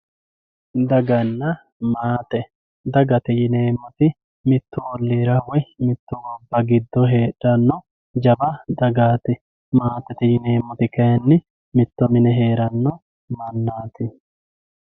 Dagana maate dagate yineemo woyite mitte oliira woyi mitte daga gido afantano miilati yine woshinani maatete yineemo woyite kayini mitto mine heerano manati yaate